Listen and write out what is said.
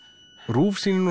RÚV sýnir nú